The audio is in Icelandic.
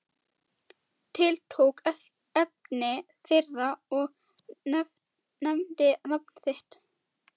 Tiltók efni þeirra og nefndi nafn þitt.